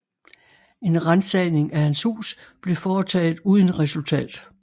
En ransagning af hans hus blev foretaget uden resultat